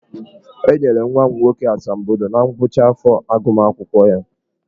E nyere nwa m nwoke asambodo na ngwụcha afọ agụmakwụkwọ ya.